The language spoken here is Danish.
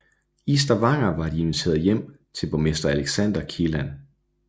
I Stavanger var de inviteret hjem til borgmester Alexander Kielland